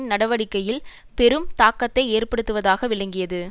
நடவடிக்கையில் பெரும் தாக்கத்தைஏற்படுத்துவதாக விளங்கியது